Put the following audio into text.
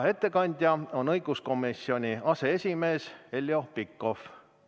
Ettekandja on õiguskomisjoni aseesimees Heljo Pikhof.